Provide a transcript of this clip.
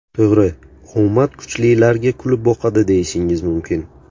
To‘g‘ri, omad kuchlilarga kulib boqadi deyishingiz mumkin.